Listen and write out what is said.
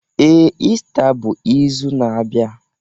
Ee, Ista bụ izu na-abịa